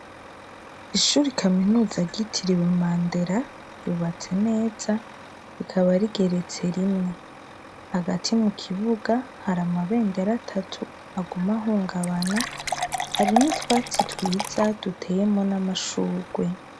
Ishura i kaminuza agitiriwe mandera ryubatse neza rikaba rigeretse rimwe hagati mu kibuga hari amabendera atatu agumahungabana hari n'utwatsi twiza duteyemo n'amashurwe.